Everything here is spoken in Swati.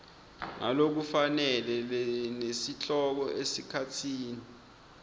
ngalokufanele nesihloko esikhatsini